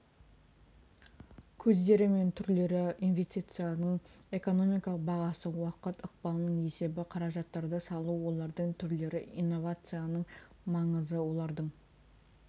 көздері мен түрлері инвестицияның экономикалық бағасы уақыт ықпалының есебі қаражаттарды салу олардың түрлері иновацияның маңызы олардың